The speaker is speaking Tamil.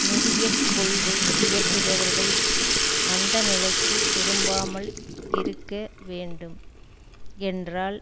நிதிய கொள்கை இயற்றுபவர்கள் மந்த நிலைக்கு திரும்பாமல் இருக்க வேண்டும் என்றால்